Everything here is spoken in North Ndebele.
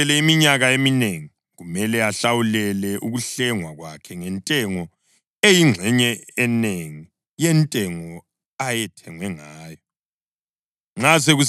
Nxa kusele iminyaka eminengi, kumele ahlawulele ukuhlengwa kwakhe ngentengo eyingxenye enengi yentengo ayethengwe ngawo.